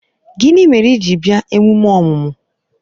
Gịnị mere i ji bịa emume ọmụmụ?